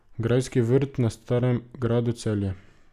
Grajski vrt na Starem gradu Celje.